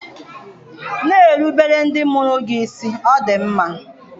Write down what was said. Na-erubere ndị mụrụ gị isi, Ọ dị mma!